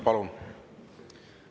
Palun!